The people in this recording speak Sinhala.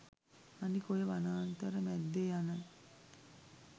අනික ඔය වනාන්තර මැද්දේ යන